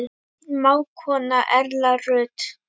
Þín mágkona Erla Rut.